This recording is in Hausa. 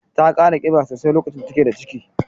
Ta kara kiba sosai lokacin da take da ciki.